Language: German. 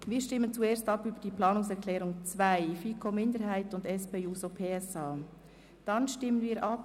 Wir stimmen zuerst über die Planungserklärung 2 der FiKoMinderheit und der SP-JUSO-PSA-Fraktion ab.